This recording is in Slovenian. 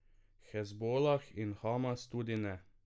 Hezbolah in Hamas tudi ne.